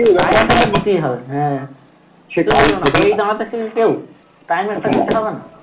দিতেই হবে হ্যাঁ দাঁড়াতে শেখে কেউ time একটা হবেনা